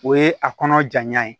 O ye a kɔnɔ janya ye